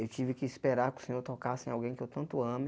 Eu tive que esperar que o Senhor tocasse em alguém que eu tanto ame.